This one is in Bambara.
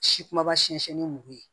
Si kumaba siyɛnsɛn ni mugu ye